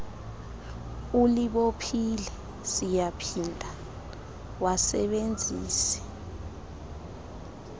ulibophile siyaphinda wasebenzise